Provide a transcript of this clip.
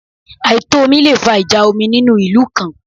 Àìtò omi le fa ìjà omi nínú ìlú kan